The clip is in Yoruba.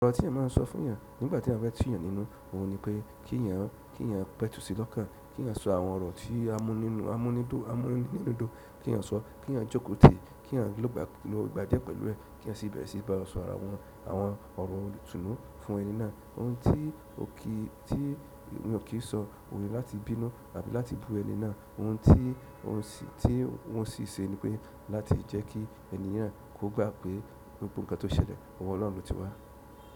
Ọ̀rọ̀ tí eyan máa ń sọ fún èyàn nígbà tí a feyan fe tú èyàn nínú òhun ni pé kí èyàn, kí èyàn pẹ̀tù sí lọ́kàn, kí èyàn so àwọn ọ̀rọ̀ tí a mún nínú, a mún ní dú, a mún ní nínú dún, kí èyàn sọ, kí èyàn jókòó tì, kí eyan ń lọ gbà dié pẹ̀lú ẹ̀, kí èyàn sì bẹ̀rẹ̀ sí í báwon sọ àwọn, àwọn ọ̀rọ̀ ìtùnú fún ẹni náà. Òhun tí òkè, tí èyàn o kì í sọ òun ni láti bínú àbí láti bú ẹni náà. Òhun tí, òun sì, tí wọ́n sì ṣe ni pé láti jẹ́ kí ènìyàn kó gbà pé gbogbo ǹkan tó ṣẹlẹ̀, ọwọ́ Ọlọ́run lo ti wà.